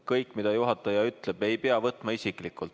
Kõike, mida juhataja ütleb, ei pea võtma isiklikult.